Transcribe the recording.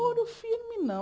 namoro firme, não.